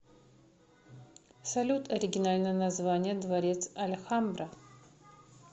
салют оригинальное название дворец альхамбра